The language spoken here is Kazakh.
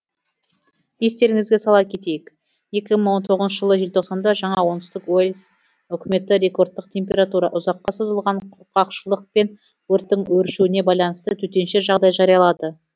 естеріңізге сала кетейік екі мың он тоғызыншы жылы желтоқсанда жаңа оңтүстік уэльс үкіметі рекордтық температура ұзаққа созылған құрғақшылық пен өрттің өршуіне байланысты төтенше жағдай жариялады